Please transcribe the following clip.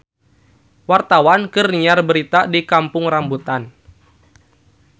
Wartawan keur nyiar berita di Kampung Rambutan